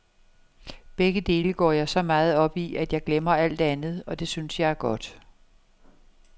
Begge dele går jeg så meget op i, at jeg glemmer alt andet, og det synes jeg er godt.